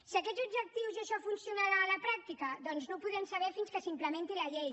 si aquests objectius i això funcionarà a la pràctica doncs no ho podrem saber fins que s’implementi la llei